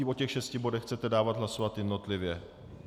I o těch šesti bodech chcete dávat hlasovat jednotlivě?